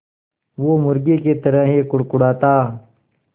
वो मुर्गी की तरह ही कुड़कुड़ाता